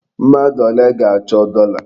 Mmadụ ole ga-achọ dọla?